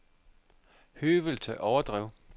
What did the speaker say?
Høvelte Overdrev